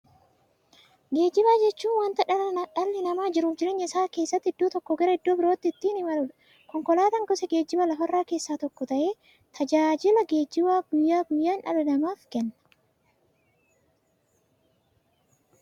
Geejjiba jechuun wanta dhalli namaa jiruuf jireenya isaa keessatti iddoo tokkoo gara iddoo birootti ittiin imaluudha. Konkolaatan gosa geejjibaa lafarraa keessaa tokko ta'ee, tajaajila geejjibaa guyyaa guyyaan dhala namaaf kenna.